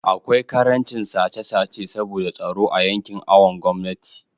akwai karancin sace sace saboda tsaro a yankin awon gomnati